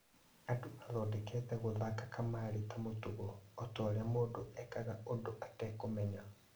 "Andũ mathondekete gũthaka kamarĩ ta mũtugo, otaũria mũndũ ekaga ũndũ etekũmenya.